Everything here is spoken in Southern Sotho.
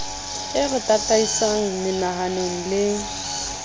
e re tataisang menahanong le